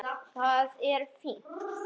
Það er fínt.